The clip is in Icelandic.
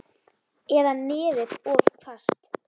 Eða nefið of hvasst.